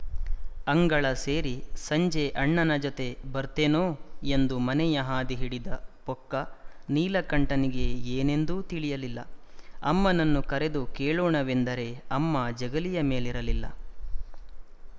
ಅಂಗಳ ಸೇರಿ ಸಂಜೆ ಅಣ್ಣನ ಜೊತೆ ಬರ್ತೇನೋ ಎಂದು ಮನೆಯ ಹಾದಿ ಹಿಡಿದ ಪೊಕ್ಕ ನೀಲಕಂಠನಿಗೆ ಏನೊಂದೂ ತಿಳಿಯಲಿಲ್ಲ ಅಮ್ಮನನ್ನು ಕರೆದು ಕೇಳೋಣವೆಂದರೆ ಅಮ್ಮ ಜಗಲಿಯ ಮೇಲಿರಲಿಲ್ಲ